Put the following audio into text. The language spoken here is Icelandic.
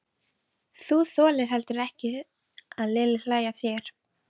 Þú þolir heldur ekki að Lilli hlæi að þér.